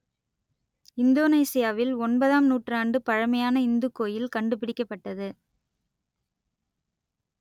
இந்தோனேசியாவில் ஒன்பதாம் நூற்றாண்டு பழமையான இந்துக் கோயில் கண்டுபிடிக்கப்பட்டது